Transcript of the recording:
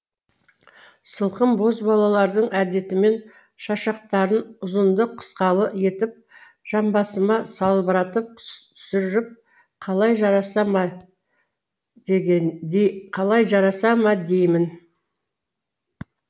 сылқым бозбалалардың әдетімен шашақтарын ұзынды қысқалы етіп жамбасыма салбыратып түсіріп қалай жараса ма деймін